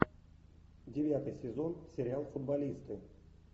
девятый сезон сериал футболисты